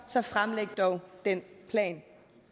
så fremlæg dog den plan